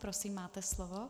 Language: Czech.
Prosím, máte slovo.